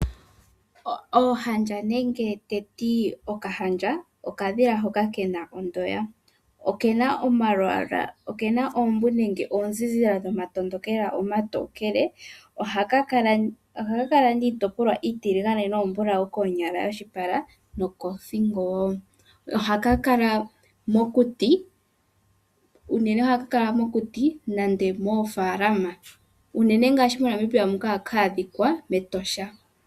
Oohandja nenge teti okahandja, okadhila hoka kena ondoya. Okena oombu nenge oozilila dhomatondokela omatokele, ohaka kala niitopolwa iitiligane noombulawu koonyala yoshipala nokothingo wo. Ohaka kala mokuti, unene ohaka kala mokuti nende moofalama. Unene moNamibia muka ohaka adhikwa mEtosha.